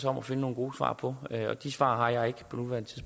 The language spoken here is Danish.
og finde nogle gode svar på og de svar har jeg ikke